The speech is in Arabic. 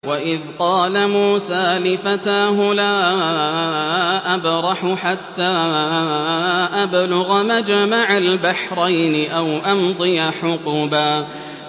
وَإِذْ قَالَ مُوسَىٰ لِفَتَاهُ لَا أَبْرَحُ حَتَّىٰ أَبْلُغَ مَجْمَعَ الْبَحْرَيْنِ أَوْ أَمْضِيَ حُقُبًا